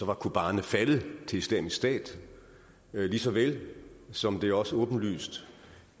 var kobane faldet til islamisk stat lige så vel som det også er åbenlyst